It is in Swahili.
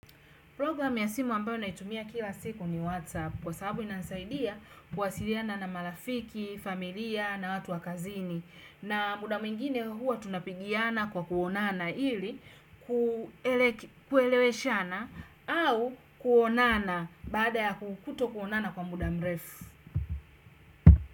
Program ya simu ambayo ninaitumia kila siku ni WhatsApp kwa sababu inanisaidia kuwasiliana na marafiki, familia, na watu wa kazini. Na muda mwingine huwa tunapigiana kwa kuonana ili kueleweshana au kuonana baada ya kutoonana kwa muda mrefu.